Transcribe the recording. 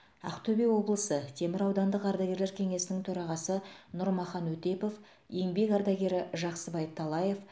ақтөбе облысы темір аудандық ардагерлер кеңесінің төрағасы нұрмахан өтепов еңбек ардагері жақсыбай талаев